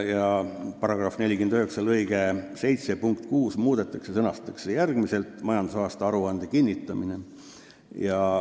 Muudetakse § 49 lõike 7 punkti 6 ja sõnastatakse see järgmiselt: "majandusaasta aruande kinnitamine.